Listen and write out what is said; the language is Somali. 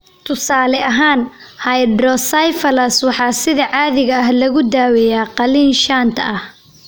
Tusaale ahaan, hydrocephalus waxaa sida caadiga ah lagu daaweeyaa qalliin shunt ah.